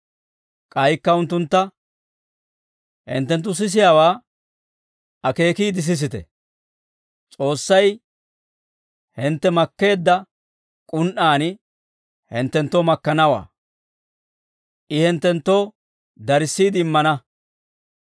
K'aykka unttuntta, «Hinttenttu sisiyaawaa akeekiide sisite; S'oossay hintte makkeedda k'un"aan hinttenttoo makkanawaa. I hinttenttoo darissiide immana;